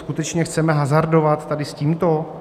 Skutečně chceme hazardovat tady s tímto?